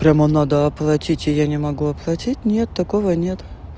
прямо надо оплатить и я не могу оплатить нет такого нет